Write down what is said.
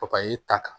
Papaye ta kan